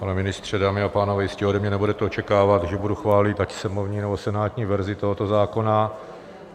Pane ministře, dámy a pánové, jistě ode mě nebudete očekávat, že budu chválit ať sněmovní, nebo senátní verzi tohoto zákona.